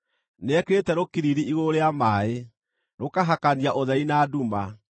Nĩekĩrĩte rũkiriri igũrũ rĩa maaĩ, rũkahakania ũtheri na nduma.